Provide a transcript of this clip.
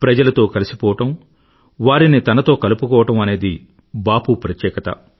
ప్రజలతో కలిసిపోవడం వారిని తనతో కలుపుకోవడం అనేది బాపూ ప్రత్యేకత